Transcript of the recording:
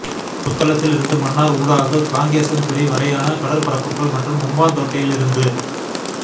புத்தளத்தில் இருந்து மன்னார் ஊடாக காங்கேசன்துறை வரையான கடற்பரப்புகள் மற்றும் ஹம்பாந்தோட்டையில் இருந்து